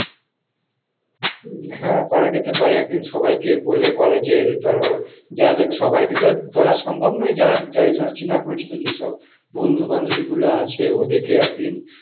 উম হ্যাঁ করা যেতে পারে কোন সবাইকে বলে ধরো college এর ধরো, সবাইকে তো বলা সম্ভব নয় যার যাই ধরো চেনা পরিচিত যেসব বন্ধু বান্ধবী গুলো আছে ওদেরকে একদিন